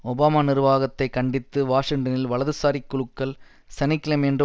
Obama நிர்வாகத்தைக் கண்டித்து வாஷிங்டனில் வலதுசாரிக் குழுக்கள் சனி கிழமையன்று